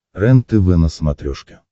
рентв на смотрешке